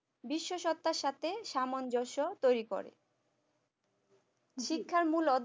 বিশ্ব সত্তার সাথে সামঞ্জস্য তৈরি করে